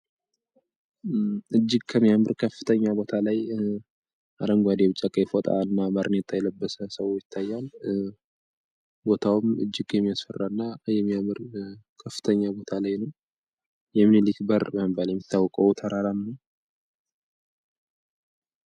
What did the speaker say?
እጅግ ከሚፎጣናር ከፍተኛ ቦታ ላይ አረንጓዴ ቢጫ ቀይ ፎጣ የለበሰና ባርኔጣ የለበሰ ሰው ይታያል። ቦታውም እጅግ የሚያስፈራና የሚያምር ከፍተኛ ቦታ ላይ ነው። የምኒልክ በር በመባል የሚታወቀው ተራራ ነው።